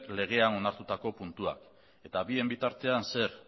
legean onartutako puntua eta bien bitartean zer